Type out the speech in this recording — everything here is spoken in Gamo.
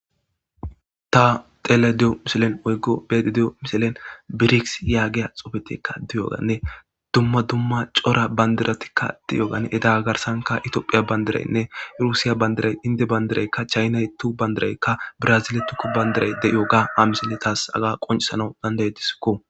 Ta xelada de'o miselen oyggo beti di'o miselen birigs yaagiya xofetikka diyoganne dumma dumma cora bandiratikka diyogan edaga garsanka itoophiya bandiraynne rusiya bandiray indi bandiraykka chaynay tu bandirayka braziletukko bandiray deiyo ga amiseletas aga qoncisana dandayediskko.